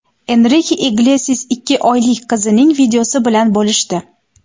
Enrike Iglesias ikki oylik qizining videosi bilan bo‘lishdi .